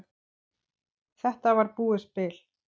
Þetta var búið spil.